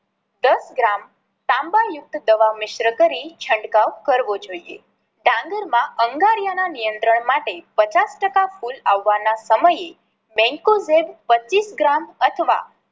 દસ ગ્રામ તાંબા યુક્ત દવા મિશ્ર કરી છંટકાવ કરવો જોઈએ. ડાંગર માં અંગારિયા ના નિયત્રંણ માટે પચાસ ટકા ફૂલ આવવાના સમયે mankozeb પચીસ ગ્રામ અથવા